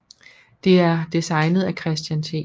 Det er designet af Christian T